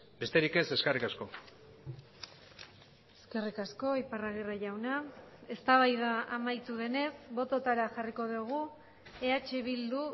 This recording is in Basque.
besterik ez eskerrik asko eskerrik asko iparragirre jauna eztabaida amaitu denez bototara jarriko dugu eh bildu